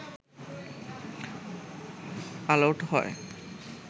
all out হয়